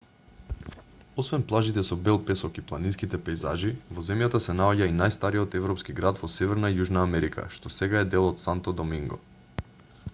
освен плажите со бел песок и планинските пејзажи во земјата се наоѓа и најстариот европски град во северна и јужна америка што сега е дел од санто доминго